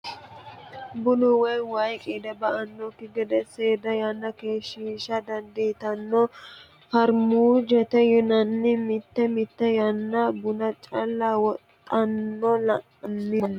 Bunu woyi waayi qiide ba"anokki gede seeda yanna keeshshisha dandiittano farmujeti yinanni mite mite yanna buna calla wodhana la'nanni manninke.